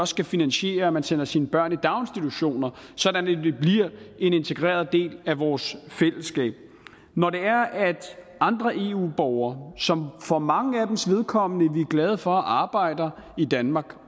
skal finansiere at man sender sine børn i daginstitutioner sådan at de bliver en integreret del af vores fællesskab når andre eu borgere som for manges vedkommende er glade for arbejder i danmark